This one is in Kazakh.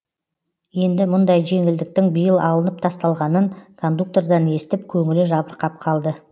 енді мұндай жеңілдіктің биыл алынып тасталғанын кондуктордан естіп көңілі жабырқап қалды